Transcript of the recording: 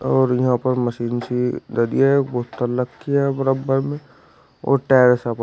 और यहां पर मशीन सी लगी है बोतल रखी है बराबर में और टायर सब--